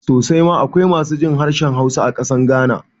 Sosai ma akwai masu jin harshen Hausa a ƙasar Ghana